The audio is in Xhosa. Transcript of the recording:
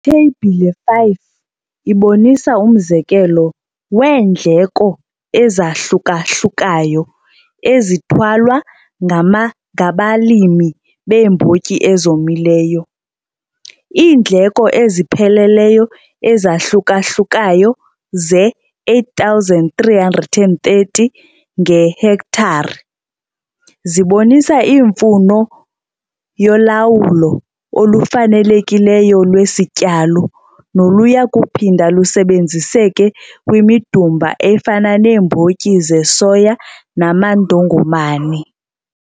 Itheyibhile 5 ibonisa umzekelo weendleko ezahluka-hlukayo ezithwalwa ngabalimi beembotyi ezomileyo. Iindleko ezipheleleyo ezahluka-hlukayo zeR8 330, ngehektare zibonisa imfuno yolawulo olufanelekileyo lwesityalo, noluya kuphinda lusebenziseke kwimidumba efana neembotyi zesoya namandongomane.